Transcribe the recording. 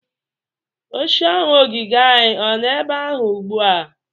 Oche ọnụ ogige anyị ọ nọ ebe ahụ ugbu a?